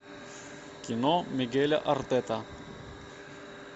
кино мигеля артета